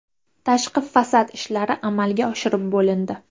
Tashqi fasad ishlari amalga oshirilib bo‘lindi.